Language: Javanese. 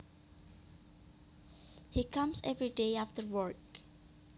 He comes every day after work